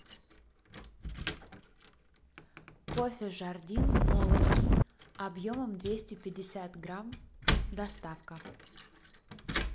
кофе жардин молотый объемом двести пятьдесят грамм доставка